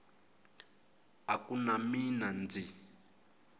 a ku na mina ndzi